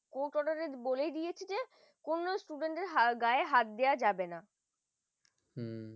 court order বলেই দিয়েছে কোন student দের গায়ে হাত দেওয়া যাবে না